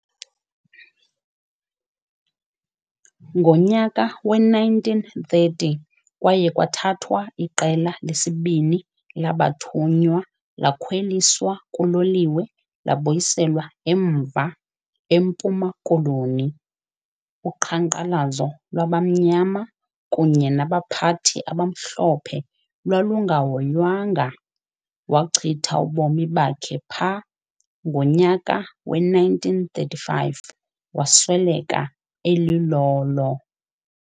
Ngonyaka we-1930 kwaye kwathathwa iqela lesibini labathunywa lakhwelisa kuloliwe labuyiselwa emva, eMpuma Koloni. Uqhankqalazo lwabamnyama kunye nabaphathi abamhlophe lwalungahoywanga, wachitha ubomi bakhe pha, ngonyaka we-1935 wasweleka elilolo.